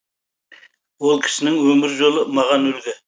ол кісінің өмір жолы маған үлгі